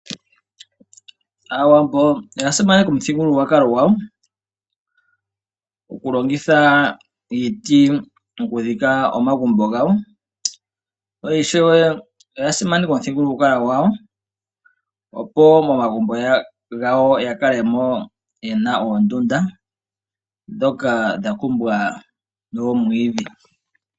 Aawambo oya simaneka omuthigululwakalo gwawo, okulongitha iiti, okudhika omagumbo gawo. Oya simaneka wo omuthigululwakalo opo momagumbo gawo ya kale mo ye na oondunda ndhoka dha kumbwa nomwiidhi.